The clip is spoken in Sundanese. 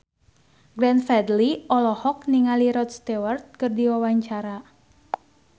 Glenn Fredly olohok ningali Rod Stewart keur diwawancara